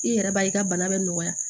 I yɛrɛ b'a ye i ka bana bɛ nɔgɔya